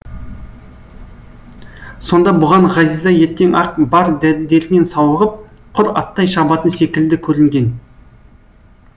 сонда бұған ғазиза ертең ақ бар дертінен сауығып құр аттай шабатын секілді көрінген